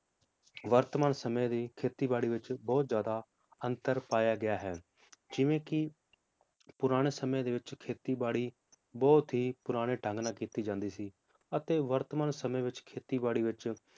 ਵਰਤਮਾਨ ਸਮੇ ਦੀ ਖੇਤੀ ਬਾੜੀ ਵਿਚ ਬਹੁਤ ਜ਼ਿਆਦਾ ਅੰਤਰ ਪਾਯਾ ਗਿਆ ਹੈ ਜਿਵੇ ਕੀ ਪੁਰਾਣੇ ਸਮੇ ਦੇ ਵਿਚ ਖੇਤੀ ਬਾੜੀ ਬਹੁਤ ਹੀ ਪੁਰਾਣੇ ਢੰਗ ਨਾਲ ਕੀਤੀ ਜਾਂਦੀ ਸੀ ਅਤੇ ਵਰਤਮਾਨ ਸਮੇ ਵਿਚ ਖੇਤੀ ਬਾੜੀ ਵਿਚ